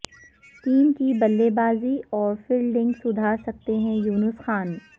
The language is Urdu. ٹیم کی بلے بازی اور فیلڈنگ سدھار سکتے ہیں یونس خان